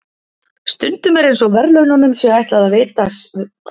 Stundum er eins og verðlaununum sé ætlað að vera sérstaklega táknræn.